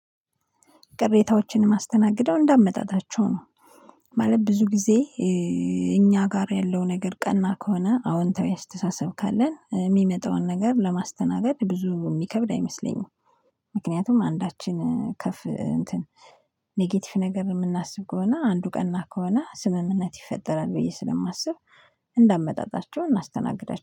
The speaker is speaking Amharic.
ቅሬታዎችን ማስተናገደው እንዳመጣጣቸው ነው። ማለት ብዙ ጊዜ እኛ ጋር ያለው ነገር ቀና ከሆነ አዎንታዊ አስተሳሰብ ካለን የሚመጣውን ነገር ለማስተናገድ ብዙ የሚከብድ አይመስለኝም። ምክንያቱም አንዳችን ከፍ እንትን ኔጌቲቭ ነገር የምናስብ ከሆነ አንዱ ቀና ከሆነ ስምምነት ይፈጠራል ብዬ ስለማስብ። እንዳመጣጣቸው እናስተናግዳለን